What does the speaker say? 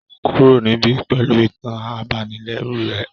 Kúrò níbí pẹ̀lú ìtàn abanilẹ́rù rẹ